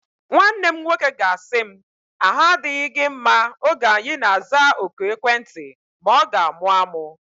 Nwanne m nwoke ga-asị m, ahu adịghị gị mma oge anyi na-aza oku ekwentị ma ọ ga-amụ amụ